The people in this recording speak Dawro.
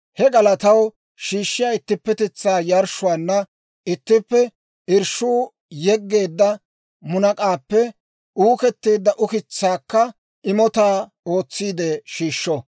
He galataw shiishshiyaa ittippetetsaa yarshshuwaanna ittippe irshshuwaa yegeedda munak'aappe uuketteedda ukitsaakka imotaa ootsiide shiishsho.